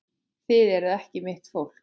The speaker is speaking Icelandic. Þið eruð ekki mitt fólk.